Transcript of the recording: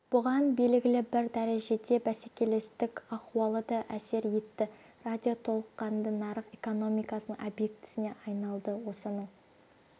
бұған белгілі бір дәрежеде бәсекелестік ахуалы да әсер етті радио толыққанды нарық экономикасының объектісіне айналды осының